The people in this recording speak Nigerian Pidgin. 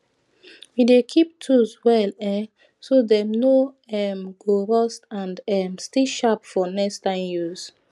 we dey keep tools well um so dem no um go rust and um still sharp for next time use